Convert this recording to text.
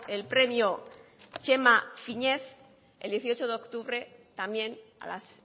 el premio txema fínez el dieciocho de octubre también a las